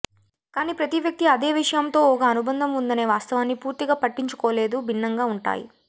కానీ ప్రతి వ్యక్తి అదే విషయం తో ఒక అనుబంధం ఉందనే వాస్తవాన్ని పూర్తిగా పట్టించుకోలేదు భిన్నంగా ఉంటాయి